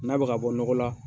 N'a bi ga bɔ, nɔgɔ la